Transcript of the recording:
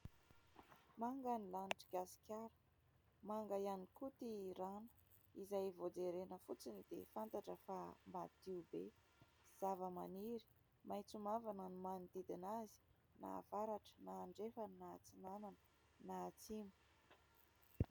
Manga ny lanitr'i Gasikara , manga ihany koa ity rano izay vao jerena fotsiny dia fantatra fa madio be. Zavamaniry maintso mavana no manodidina azy : na avaratra na andrefana na atsinanana na atsimo.